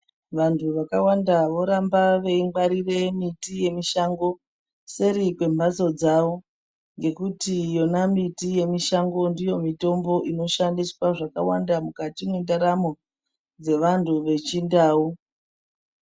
Vantu vakawanda voramba veyingwarie miti yemushango seri kwembatso dzavo, ngekuti yona miti yemushango ndiyo mitombo inoshandiswa zvakawanda mukati mendaramo dzevantu vechindau.